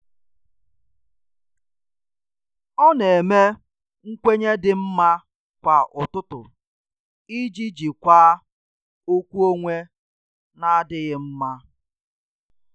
Ọ na eme nkwenye dị mma kwa ụtụtụ iji jikwaa okwu onwe n'adịghị mma.